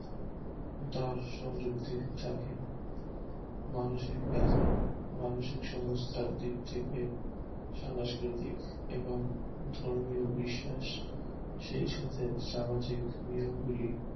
তার সম্ব্রিদ্দি থাকে মানসিক ব্যাধি মানসিক সংস্থার দিক থেকে সাংকৃতিক এবং ধর্মীয় বিশ্বাস শেষ হতে সামাজিক নিয়মগুলি